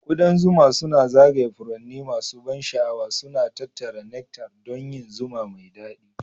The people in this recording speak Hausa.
Ƙudan zuma suna zagaya furanni masu ban sha'awa, suna tattara nectar don yin zuma mai daɗi